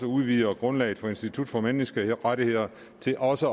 udvider grundlaget for institut for menneskerettigheder til også